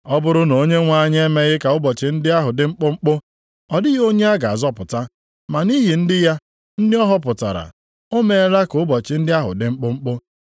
“Ọ bụrụ na Onyenwe anyị emeghị ka ụbọchị ndị ahụ dị mkpụmkpụ, ọ dịghị onye a ga-azọpụta. Ma nʼihi ndị ya, ndị ọ họpụtara, o meela ka ụbọchị ndị ahụ dị mkpụmkpụ.